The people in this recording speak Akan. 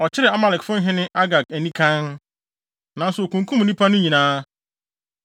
Ɔkyeree Amalekfo hene Agag anikann, nanso okunkum nnipa no nyinaa.